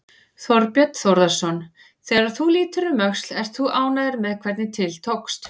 Þorbjörn Þórðarson: Þegar þú lítur um öxl, ert þú ánægður með hvernig til tókst?